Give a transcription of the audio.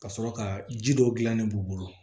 Ka sɔrɔ ka ji dɔ gilan ne b'u bolo